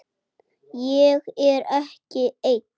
Ég er ekki ein.